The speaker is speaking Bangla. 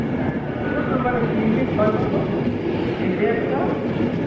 এর ও তো মানে তিনটে ছয় মারল state এ একটা আহ